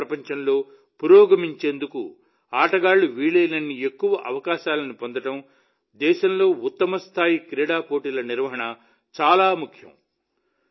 క్రీడా ప్రపంచంలో పురోగమించేందుకు ఆటగాళ్లు వీలైనన్ని ఎక్కువ అవకాశాలను పొందడం దేశంలో ఉత్తమస్థాయి క్రీడా పోటీల నిర్వహణ చాలా ముఖ్యం